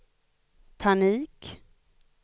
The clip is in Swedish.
panik